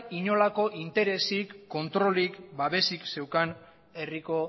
inolako interesik kontrolik babesik zeukan herriko